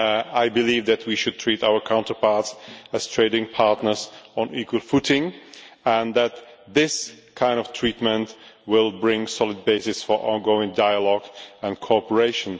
I believe that we should treat our counterparts as trading partners on an equal footing, and that this kind of treatment will bring a solid basis for ongoing dialogue and cooperation.